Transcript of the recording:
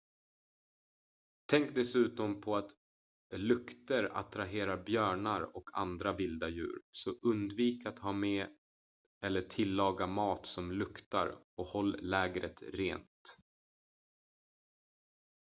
tänk dessutom på att lukter attraherar björnar och andra vilda djur så undvik att ha med eller tillaga mat som luktar och håll lägret rent